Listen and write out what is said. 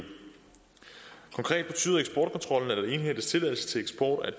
konkret betyder eksportkontrollen at der indhentes tilladelse til eksport af